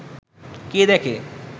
কে দেখে